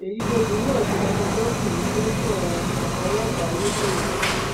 èyí lobìnrin náà ṣe lọọ fẹjọ sùn ní tẹsán ọlọpàá ayétoro